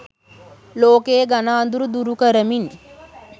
ලෝකයේ ගණ අඳුර දුරු කරමින්